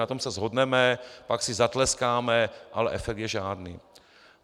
Na tom se shodneme, pak si zatleskáme, ale efekt je žádný.